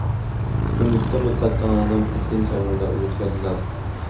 Tunisda muddatidan oldin prezident saylovlari o‘tkaziladi.